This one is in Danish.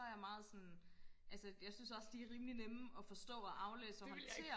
og så er jeg meget sådan altså jeg synes også de er rimelig nemme og forstå og aflæse og håndtere